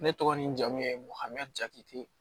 Ne tɔgɔ ni jamu ye hami jati